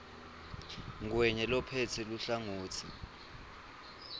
ngwenya lophetse luhlangotsi